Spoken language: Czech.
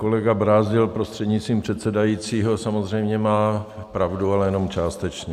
Kolega Brázdil, prostřednictvím předsedajícího, samozřejmě má pravdu, ale jenom částečně.